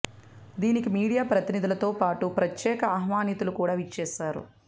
దీనికి మీడియా ప్రతినిధులతో పాటు ప్రత్యేక ఆహ్వానితులు కూడా విచ్చేశారు